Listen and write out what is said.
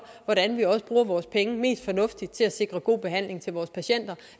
hvordan vi bruger vores penge mest fornuftigt til at sikre god behandling til vores patienter